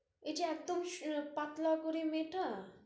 ওই যে একটুক পাতলা করে মেয়েটা